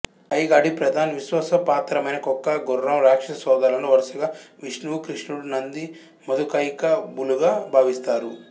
హెగాడి ప్రధాన్ విశ్వాసపాత్రమైన కుక్క గుర్రం రాక్షస సోదరులను వరుసగా విష్ణువు కృష్ణుడు నంది మధుకైకభులుగా భావిస్తారు